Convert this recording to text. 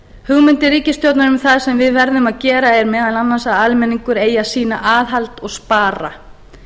hugmyndir ríkisstjórnarinnar um það sem við verðum að gera er meðal annars að almenningur eigi að sýna aðhald og spara